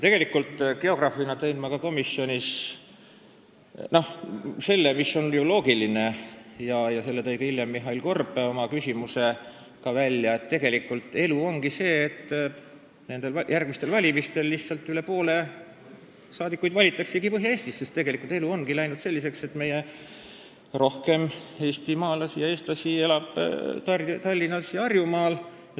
Geograafina tõin ma komisjonis välja selle, mis on ju loogiline – selle tõi hiljem oma küsimuses välja ka Mihhail Korb –, et tegelikult elu ongi selline, et järgmistel valimistel, üsna pea, lihtsalt üle poole saadikutest valitaksegi Põhja-Eestis, sest see ongi trend, et rohkem eestimaalasi ja eestlasi elab Tallinnas ja Harjumaal.